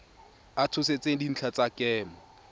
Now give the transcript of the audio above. a tshotseng dintlha tsa kemo